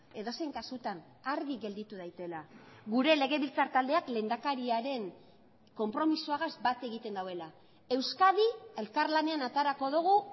edozein kasutan argi gelditu daitela gure legebiltzar taldeak lehendakariaren konpromisoagaz bat egiten duela euskadi elkarlanean aterako dugu